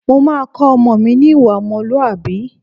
Mo máa kọ́ ọmọ mi ní ìwà ọmọlúwàbí